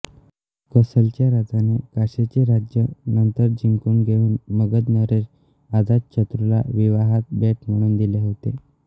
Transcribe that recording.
कोसलच्या राजाने काशीचे राज्य नंतर जिंकून घेऊन मगध नरेश अजातशत्रूला विवाहात भेट म्हणून दिले होते